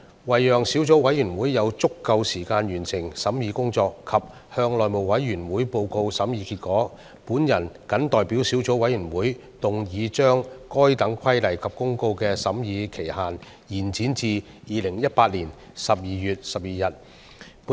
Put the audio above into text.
為了讓小組委員會有足夠時間完成審議工作及向內務委員會報告審議結果，我謹代表小組委員會，動議將該等規例及公告的修訂期限延展至2018年12月12日的立法會會議。